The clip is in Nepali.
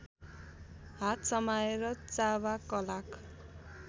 हात समाएर चावाकलाक